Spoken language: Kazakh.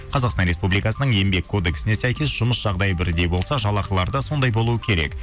қазақстан республикасының еңбек кодексіне сәйкес жұмыс жағдайы бірдей болса жалақылары да сондай болу керек